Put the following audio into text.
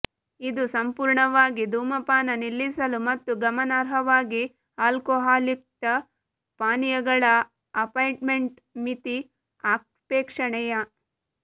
ಇದು ಸಂಪೂರ್ಣವಾಗಿ ಧೂಮಪಾನ ನಿಲ್ಲಿಸಲು ಮತ್ತು ಗಮನಾರ್ಹವಾಗಿ ಆಲ್ಕೊಹಾಲ್ಯುಕ್ತ ಪಾನೀಯಗಳ ಅಪಾಯಿಂಟ್ಮೆಂಟ್ ಮಿತಿ ಅಪೇಕ್ಷಣೀಯ